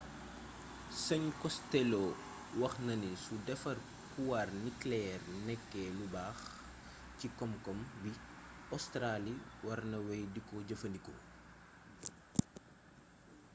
sëñ costelloo wax na ni su defar puwaar nikeleyeer nekkee lu baax ci koom-koom bi ostaraali war na wey diko jëfandikoo